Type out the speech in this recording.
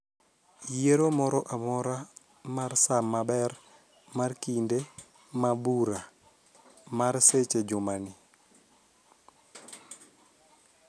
Yiero moro amora mar saa maber mar kinde ma bura mar seche e jumani.